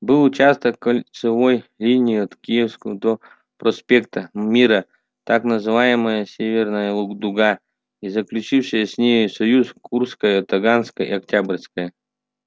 был участок кольцевой линии от киевской до проспекта мира так называемая северная дуга и заключившие с ней союз курская таганская и октябрьская